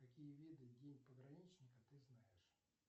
какие виды день пограничника ты знаешь